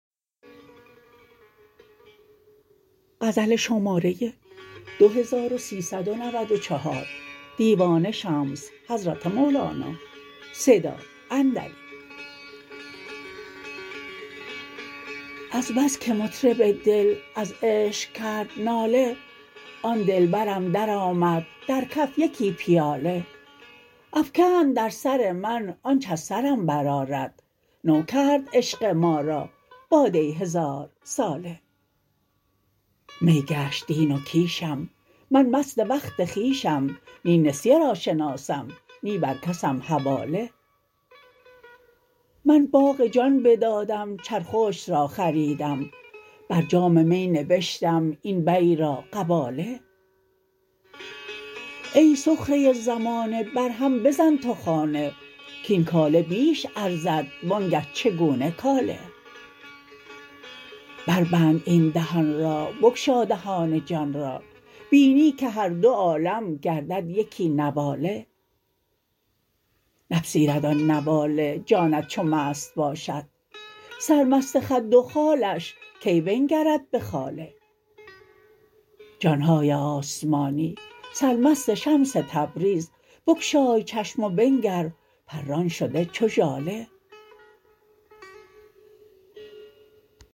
از بس که مطرب دل از عشق کرد ناله آن دلبرم درآمد در کف یکی پیاله افکند در سر من آنچ از سرم برآرد نو کرد عشق ما را باده هزارساله می گشت دین و کیشم من مست وقت خویشم نی نسیه را شناسم نی بر کسم حواله من باغ جان بدادم چرخشت را خریدم بر جام می نبشتم این بیع را قباله ای سخره زمانه برهم بزن تو خانه کاین کاله بیش ارزد وآنگه چگونه کاله بربند این دهان را بگشا دهان جان را بینی که هر دو عالم گردد یکی نواله نپذیرد آن نواله جانت چو مست باشد سرمست خد و خالش کی بنگرد به خاله جان های آسمانی سرمست شمس تبریز بگشای چشم و بنگر پران شده چو ژاله